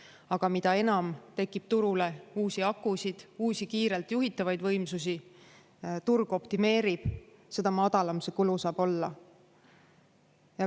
Aga mida enam tekib turule uusi akusid, uusi kiirelt juhitavaid võimsusi, turg optimeerib, seda madalam see kulu saab olla.